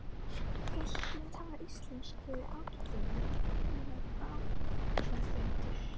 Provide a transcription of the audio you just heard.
Pilturinn talaði íslensku ágætlega og var bráðgreindur.